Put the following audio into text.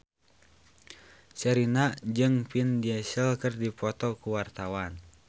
Sherina jeung Vin Diesel keur dipoto ku wartawan